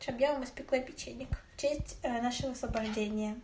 что бы я испекла печенек в честь нашего освобождения